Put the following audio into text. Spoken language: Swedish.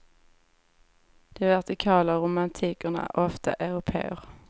De vertikala romantikerna är ofta européer.